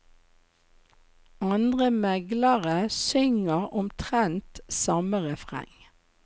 Andre meglere synger omtrent samme refreng.